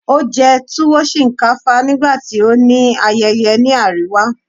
o jẹ tuwo shinkafa nigbati o ni ayeye ni ariwa